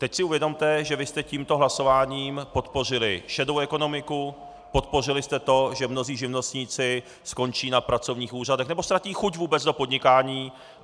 Teď si uvědomte, že vy jste tímto hlasováním podpořili šedou ekonomiku, podpořili jste to, že mnozí živnostníci skončí na pracovních úřadech nebo ztratí chuť vůbec do podnikání.